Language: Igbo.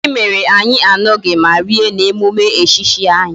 Gini mere anyi añughi ma rie na emume echichi ahi.